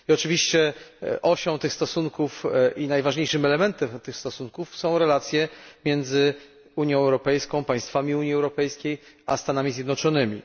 I oczywiście osią tych stosunków i najważniejszym elementem tych stosunków są relacje między Unią Europejską, państwami Unii Europejskiej a Stanami Zjednoczonymi.